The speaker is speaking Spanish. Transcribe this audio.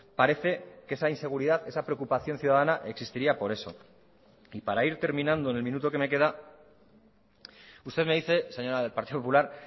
parece que esa inseguridad esa preocupación ciudadana existiría por eso y para ir terminando en el minuto que me queda usted me dice señora del partido popular